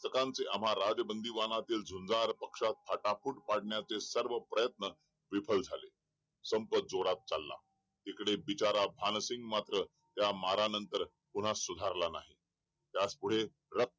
आम्हा राज बंदीवानांच्या जंजीर पक्षात फाटाफूट पाडण्याचे सर्व प्रयत्न विफल झाले संप जोरात चाला इथे बिचारा भानसिंग मात्र त्या मारणानंतर पुन्हा सुधारला नाही पुढे